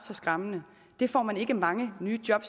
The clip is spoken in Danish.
skræmmende det får man ikke mange nye job